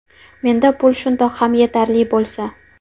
Menda pul shundoq ham yetarli bo‘lsa.